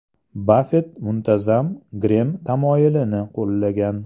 Baffett muntazam Grem tamoyilini qo‘llagan.